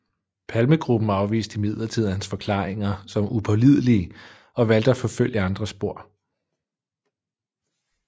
Palmegruppen afviste imidlertid hans forklaringer som upålidelige og valgte at forfølge andre spor